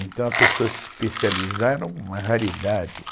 Então a pessoa se especializar, era uma raridade.